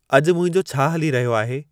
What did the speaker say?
अॼुु मुंहिंजो छा हली रहियो आहे